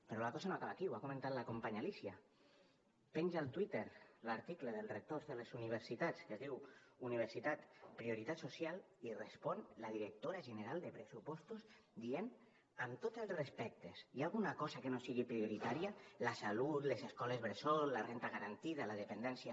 però la cosa no acaba aquí ho ha comentat la companya alícia penja al twitter l’article dels rectors de les universitats que es diu universitat prioritat social i respon la directora general de pressupostos dient amb tots els respectes hi ha alguna cosa que no sigui prioritària la salut les escoles bressol la renda garantida la dependència